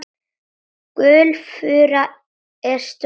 Gulfura er stórt tré.